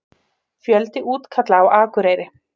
Fjöldi útkalla á Akureyri